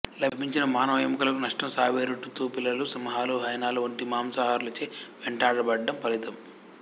లభించిన మానవ ఎముకలకు నష్టం సాబెరుటూతు పిల్లులు సింహాలు హైనాలు వంటి మాంసాహారులచే వేటాడబడడం ఫలితం